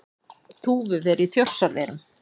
Þúfuver í Þjórsárverum.